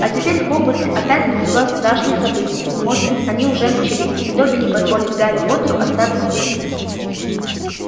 а теперь в хогвартсе опять назревают страшные события может быть они уже начались и добби не позволит гарри поттеру остаться здесь